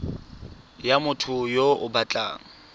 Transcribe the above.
ya motho yo o batlang